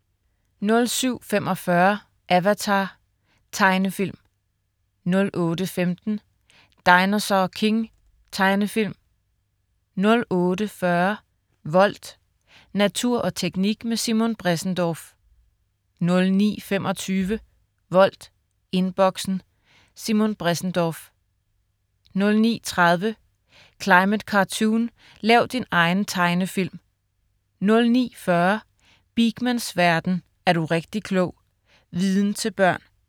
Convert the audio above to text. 07.45 Avatar. Tegnefilm 08.15 Dinosaur King. Tegnefilm 08.40 Volt. Natur og teknik med Simon Bressendorff 09.25 Volt, Inboxen. Simon Bressendorff 09.30 Climate Cartoon, lav din egen tegnefilm 09.40 Beakmans verden. Er du rigtig klog! Viden til børn